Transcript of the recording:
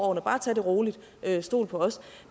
og bare tag det roligt stol på os